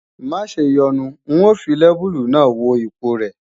Maṣe yọnu n ó fi lẹ́bùlù náà wo ipọ̀ rẹ̀